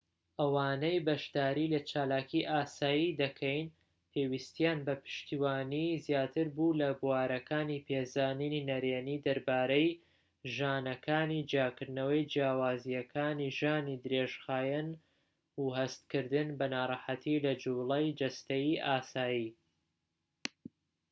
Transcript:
ئەوانەی بەشداری لە چالاکی ئاسایی دەکەین پێویستیان بە پشتیوانی زیاتر بوو لە بوارەکانی پێزانینی نەرێنی دەربارەی ژانەکانی جیاکردنەوەی جیاوازیەکانی ژانی درێژخایەن و هەستکردن بە ناڕەحەتی لە جووڵەی جەستەیی ئاسایی